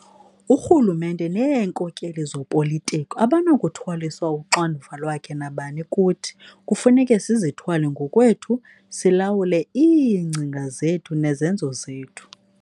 Urhulumente neenkokeli zopolitiko abanakuthwaliswa uxanduva lwakhe nabani kuthi - kufuneka sizithwale ngokwethu, silawule iingcinga zethu nezenzo zethu.